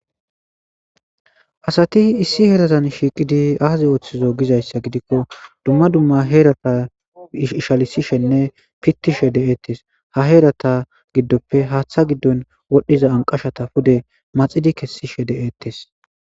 Asati issi herazan shiiqid azi othizo gizaysa gidiko dumma dumma herazan ishalisishenne pitishe detes ha herata gidonpe hatha gidon wodhiza ankashata pude maxidi kesishe de'etes